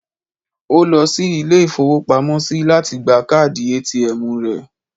Ó lọ sí ilé-ìfowópamọ́sí lati gba káàdì ATM rẹ̀